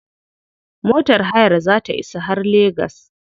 Motar hayar za ta isa har legas.